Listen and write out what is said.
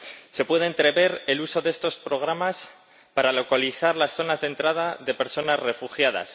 Se puede entrever el uso de estos programas para localizar las zonas de entrada de personas refugiadas